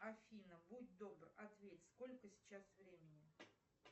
афина будь добр ответь сколько сейчас времени